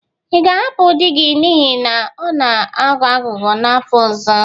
Ị ga-ahapụ di gị n'ihi na ọ na-aghọ aghụghọ n'afọ ọzọ?